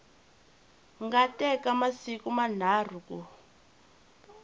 nga teka masiku manharhu ku